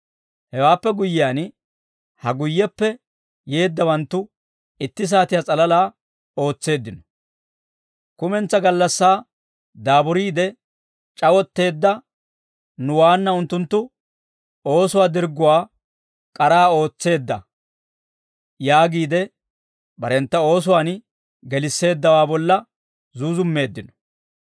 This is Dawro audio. Hewaappe guyyiyaan, ‹Ha guyyeppe yeeddawanttu itti saatiyaa s'alalaa ootseeddino; kumentsaa gallassaa daaburiide c'awotteedda nuwaanna unttunttu oosuwaa dirgguwaa k'araa ootsaadda› yaagiide barentta oosuwaan gelisseeddawaa bolla zuuzummeeddino.